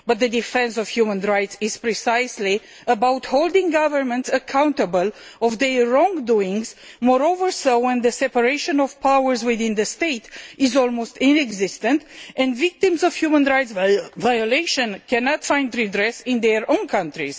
But the defence of human rights is precisely about holding governments accountable for their wrongdoing, the more so when the separation of powers within the state is almost non existent and victims of human rights violation cannot find redress in their own country.